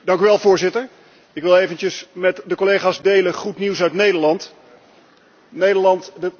Dank u wel voorzitter. Ik wil eventjes met de collega's goed nieuws uit Nederland delen.